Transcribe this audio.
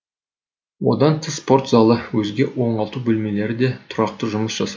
одан тыс спорт залы өзге оңалту бөлмелері де тұрақты жұмыс жасайды